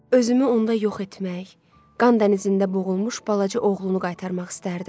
Özümü onda yox etmək, qan dənizində boğulmuş balaca oğlunu qaytarmaq istərdim.